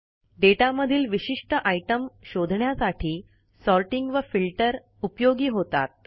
data मधील विशिष्ट item शोधण्यासाठी सॉर्टिंग व फिल्टर उपयोगी होतात